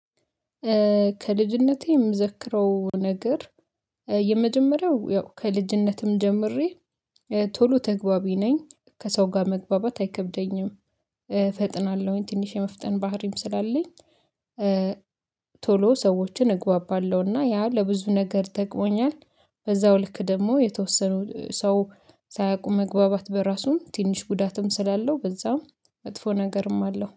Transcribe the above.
ከልጅነቴ የምዘክረው ነገር የመጀመሪያው ያው ከልጅነትም ጀምሬ ቶሎ ተግባቢ ነኝ ከሰው ጋር መግባባት አይከብደኝም። ፈጥናለሁኝ ትንሽ የመፍጠን ባህሪም ስላለኝ። ቶሎ ሰዎችን እግባባለሁና ያ ለብዙ ነገር ጠቅሞኛል። በዛው ልክ ደግሞ የተወሰኑ ሰው ሳያውቁ መግባባት በራሱም ትንሽ ጉዳትም ስላለው በዛም መጥፎ ነገርም አለው